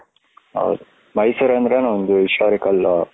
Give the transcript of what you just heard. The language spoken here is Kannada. ಹೌದು ಮೈಸೂರ್ ಅಂದ್ರೇನೆ ಒಂದು historical.